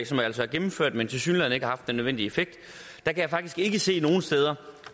som altså er gennemført men som tilsyneladende ikke har haft den nødvendige effekt kan jeg faktisk ikke se nogen steder